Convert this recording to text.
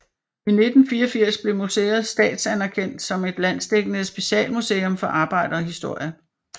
I 1984 blev museet statsanerkendt som et landsdækkende specialmuseum for arbejderhistorie